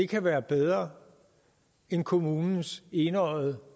kan være bedre end kommunens enøjede